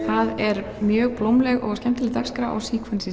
er mjög blómleg og skemmtileg dagskrá á